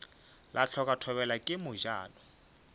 la hloka thobela ke mojano